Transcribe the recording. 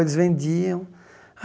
Eles vendiam.